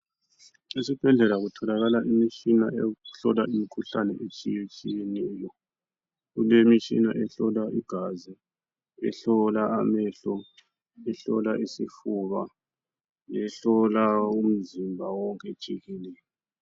Esibhedlela kutholakala imitshina eyokuhlola imikhuhlane etshiyetshiyeneyo. Kulemitshina ehlola igazi, ehlola amehlo, ehlola isifuba, ehlola umzimba wonke jikelele.